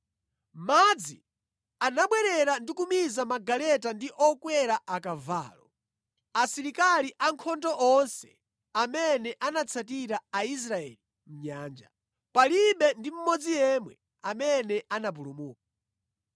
Madzi anabwerera ndi kumiza magaleta ndi okwera akavalo, asilikali ankhondo onse amene anatsatira Aisraeli mʼnyanja, palibe ndi mmodzi yemwe amene anapulumuka.